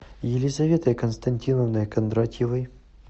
елизаветой константиновной кондратьевой